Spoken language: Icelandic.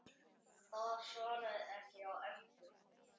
Það svarar ekki hjá Ernu.